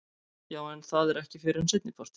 Jú en það er ekki fyrr en seinnipartinn.